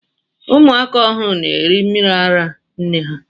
Ụmụ aka ọhụrụ na eri mmiri ara nne ha.